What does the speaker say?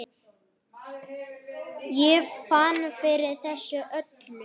Ég fann fyrir þessu öllu.